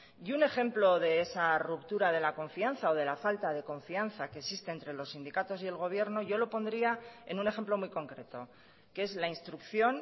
y un ejemplo de esa ruptura de la confianza o de la falta de confianza que existe entre los sindicatos y el gobierno yo lo pondría en un ejemplo muy concreto que es la instrucción